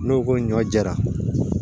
N'o ko ɲɔ jɛra